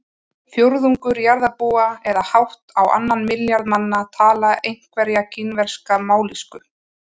Fjórðungur jarðarbúa eða hátt á annan milljarð manna tala einhverja kínverska mállýsku.